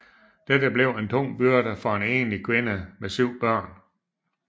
Dette blev en tung byrde for en enlig kvinde med syv børn